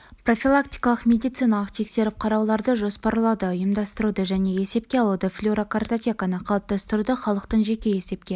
профилактикалық медициналық тексеріп-қарауларды жоспарлауды ұйымдастыруды және есепке алуды және флюорокартотеканы қалыптастыруды халықтың жеке есепке